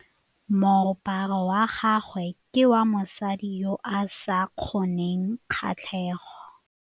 Moaparô wa gagwe ke wa mosadi yo o sa ngôkeng kgatlhegô.